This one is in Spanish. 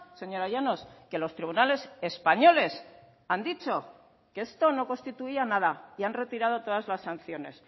señora llanos que los tribunales españoles han dicho que esto no constituía nada y han retirado todas las sanciones